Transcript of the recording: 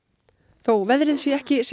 þó veðrið sé ekki